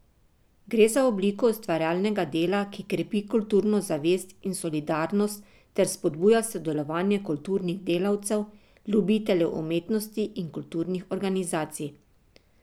Gre za obliko ustvarjalnega dela, ki krepi kulturno zavest in solidarnost ter spodbuja sodelovanje kulturnih delavcev, ljubiteljev umetnosti in kulturnih organizacij.